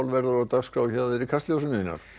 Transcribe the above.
verður á dagskrá í Kastljósinu Einar